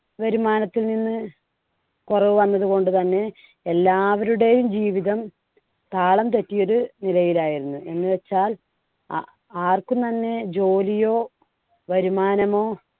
വരുമാനത്തിൽ നിന്ന് കുറവ് വന്നതുകൊണ്ട് തന്നെ എല്ലാവരുടെയും ജീവിതം താളം തെറ്റിയൊര് നിലയിലായിരുന്നു. എന്നുവെച്ചാൽ ആ~ ആർക്കും തന്നെ ജോലിയോ, വരുമാനമോ